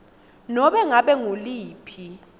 nobe ngabe nguluphi